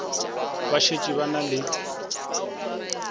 ba šetše ba na le